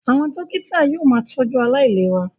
Àwọn dókítà yóò máa tọ́jú aláìlera